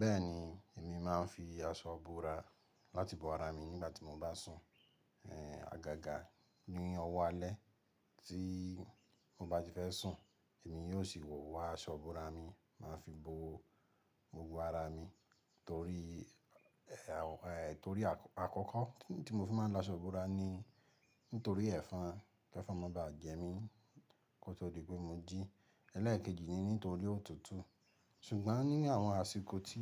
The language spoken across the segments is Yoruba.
Bẹ́ẹ̀ni, èmi máa ń fi aṣọ bora láti bo ara mi nígbà tí mo bá sùn. È, àgàgà ní ọwọ́ alẹ́ tí mo bá ti fẹ́ sùn èmi yóò sì wọ̀ wọ aṣọ ìbora mi máa fi bo gbogbo ara mi torí, è, è torí àkọ́kọ́ tí mo fi máa ń lo aṣọ ìbora ni nítorí ẹ̀fọn. Ẹ̀fọn máa baà jẹ mí kó tó di pé mo jí. Eléèkejì ni nítorí òtútù. Ṣùgbọ́n ní àwọn àsìkò tí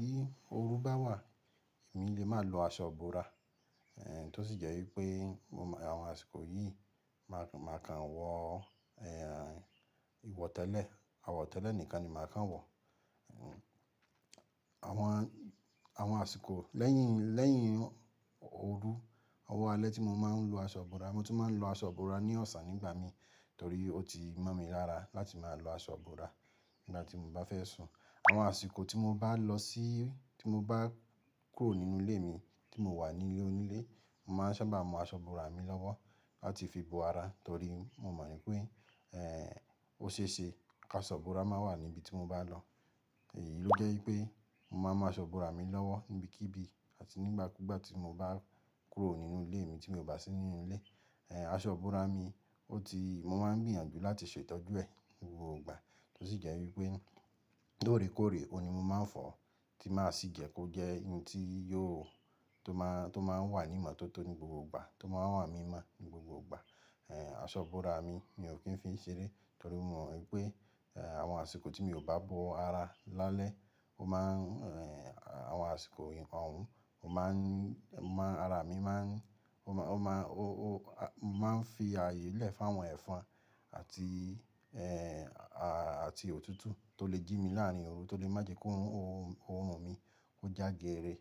oru bá wà èmi lè máa lo aṣọ búra. È tó sì jẹ́ wípé àwọn àsìkò yìí màá kàn wọ, ẹ, ìwọ tẹ́lẹ̀, àwọ̀ tẹ́lẹ̀ nìkan ni màá kàn wọ̀. Àwọn, àwọn àsìkò lẹ́yìn, lẹ́yìn oru ọwọ́ alẹ́ tí mo máa ń lo aṣọ ìbora. Mo tún máa ń lo aṣọ ìbora ní ọ̀sà nígbà mi torí ó ti mọ̀ mi lára láti máa lo aṣọ ìbora nígbà tí mo bá fẹ́ sùn. Àwọn àsìkò tí mo bá lọ sí, tí mo bá kúrò nínú ilé mi tí mo wà ní ilé onílé, màá sábà mú aṣọ ìbora mi lọ́wọ́ láti fi bo ara torí mo mọ̀ wí pé, ẹ, ó ṣe é ṣe kí aṣọ ìbora máa wà ní ibi tí mo bá lọ. Èyí ló jẹ́ wípé mo máa ń mú aṣọ ìbora mi lọ́wọ́ níbikíbi àti nígbàkúgbà tí mo bá kúrò nínú ilé mi tí mo bá sí nínú ilé. Ẹ̀, aṣọ ìbora mi ó ti, mo máa ń gbìyànjú láti ṣe ìtọ́jú ẹ̀ ní gbogbo ìgbà tó sì jẹ́ wípé lóòrèkóòrè ó ni mo máa ń fọ̀ tí màá sì jẹ́ kó jẹ́ ohun tí yó, tó máa, tó máa ń wà ní ìmọ́tótó ní gbogbo ìgbà, tó máa wà ní mímọ́ ní gbogbo ìgbà. Ẹ̀, aṣọ ìbora mi mi ò kí ń fi í ṣeré torí mo mọ̀ wípé, ẹ, àwọn àsìkò tí mi ò bá bo ara lálẹ́ ó máa ń, ẹ, àwọn àsìkò òun ó máa ń, máa ara mi máa ń, ó máa, ó máa, ó, ó, a, màá ń fi ààyè lẹ̀ fún àwọn ẹ̀fọn àti, ẹ, à, àti òtútù tó lè jí mi láàrin oru, tó lè má jẹ́ kó orùn mi kó já gé eré.